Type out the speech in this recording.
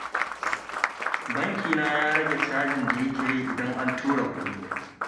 Bankina ya rage cajin da yake yi idan an tura kuɗi